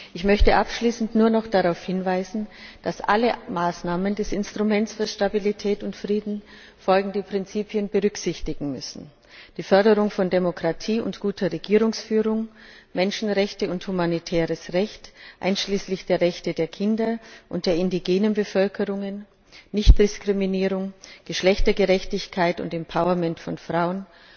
Ich möchte abschließend nur noch darauf hinweisen, dass alle Maßnahmen des Instruments für Stabilität und Frieden folgende Prinzipien berücksichtigen müssen die Förderung von Demokratie und guter Regierungsführung, Menschenrechte und humanitäres Recht, einschließlich der Rechte der Kinder und der indigenen Bevölkerungen, Nichtdiskriminierung, Geschlechtergerechtigkeit und Empowerment von Frauen,